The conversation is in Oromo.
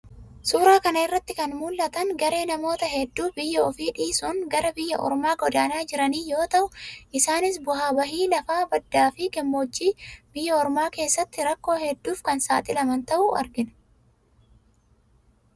Suuraa kana irraa kan mul'atan garee namoota hedduu biyya ofii dhiisuun gara biyya ormaa godaanaa jiran yoo ta'u, isaanis bu'aa bahii lafaa baddaa fi gammoojjii biyya ormaa keessatti rakkoo hedduuf kan saaxilaman ta'uu argina.